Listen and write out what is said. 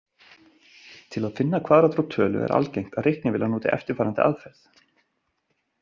Til að finna kvaðratrót tölu er algengt að reiknivélar noti eftirfarandi aðferð.